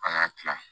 An ka kila